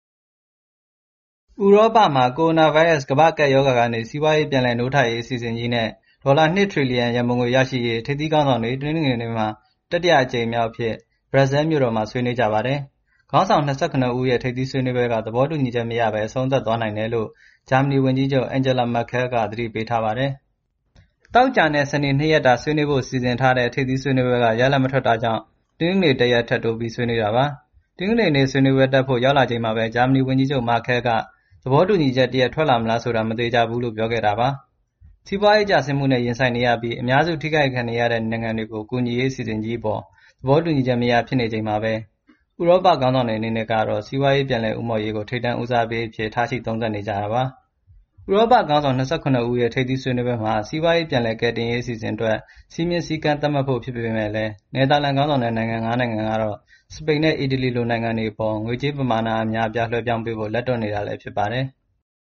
ဥရောပမှာ ကိုရိုနာဗိုင်းရပ်စ် ကမ္ဘာ့ကပ်ရောဂါကနေ စီးပွားရေး ပြန်လည်နိုးထရေး အစီအစဉ်ကြီးနဲ့ ဒေါ်လာ ၂ ထရီလီယံ ရန်ပုံငွေရရှိရေး ထိပ်သီးခေါင်းဆောင်တွေ တနင်္ဂနွေနေ့မှာ တတိယမြောက်နေ့အဖြစ် ဘရပ်ဆဲလ်မြို့တော်မှာ ဆွေးနွေးကြပါတယ်။ ခေါင်းဆောင် ၂၇ ဦးရဲ့ ထိပ်သီးဆွေးနွေးပွဲက သဘောတူညီချက်မရဘဲ အဆုံးသတ်သွားနိုင်တယ်လို့ ဂျာမနီဝန်ကြီးချုပ် Angela Merkel က သတိပေးထားပါတယ်။ သောကြာနဲ့ စနေ ၂ ရက်တာ ဆွေးနွေးဖို့ စီစဉ်ထားတဲ့ ထိပ်သီးဆွေးနွေးပွဲက ရလဒ်မထွက်တာကြောင့် တနင်္ဂနွေ တရက်ထပ်တိုး ဆွေးနွေးတာပါ။ တနင်္ဂနွေနေ့ ဆွေးနွေးပွဲတက်ဖို့ ရောက်လာချိန်မှာပဲ ဂျာမနီဝန်ကြီးချုပ် Markel က သဘောတူညီချက်တရပ် ထွက်လာမလားဆိုတာ မသေချာဘူးလို့ ပြောခဲ့တာပါ။ စီးပွားရေးကျမှုနဲ့ ရင်ဆိုင်နေရပြီး အများစု ထိခိုက်နေရတဲ့ နိုင်ငံတွေကို ကူညီရေး အစီအစဉ်ကြီးအပေါ် သဘောတူညီချက်မရ ဖြစ်နေချိန်မှာပဲ ဥရောပခေါင်းဆောင်တွေ အနေနဲ့ကတော့ စီးပွားရေး ပြန်လည်ဦးမော့ရေးကို ထိပ်တန်းဦးစားပေးအဖြစ် ထားရှိ သုံးသပ်နေကြတာပါ။ ဥရောပခေါင်းဆောင် ၂၇ ဦးရဲ့ ထိပ်သီးဆွေးနွေးပွဲမှာ စီးပွားရေး ပြန်လည်ကယ်တင်ရေး အစီအစဉ်အတွက် စည်းမျဉ်းစည်းကမ်း သတ်မှတ်ဖို့ ဖြစ်ပေမယ့်လည်း နယ်သာလန် ဦးဆောင်တဲ့ နိုင်ငံ ၅ နိုင်ငံကတော့ စပိန်နဲ့ အီတလီလို နိုင်ငံတွေအပေါ် ငွေကြေးပမာဏ အများအပြား လွှဲပြောင်းပေးဖို့ လက်တွန့်နေတာ ဖြစ်ပါတယ်။